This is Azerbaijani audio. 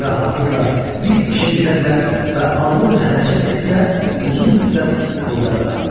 Burada rahatlıqla bir işə girə bilər və ağlıyla hərəkət etsə, uzun müddət burada qalardı.